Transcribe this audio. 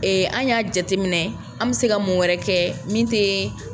an y'a jateminɛ an mɛ se ka mun wɛrɛ kɛ min tɛ